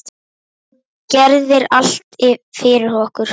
Þú gerðir allt fyrir okkur.